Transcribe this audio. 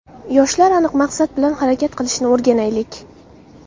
Yoshlar aniq maqsad bilan harakat qilishni o‘rganaylik.